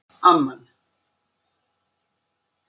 Amman